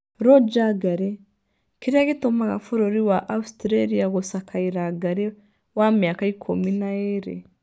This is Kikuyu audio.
Roger Ngarĩ: Kĩrĩa gĩtũmaga Bũrũri wa Australia gũcakaĩra ngarĩ wa mĩaka ikũmi na ĩĩrĩ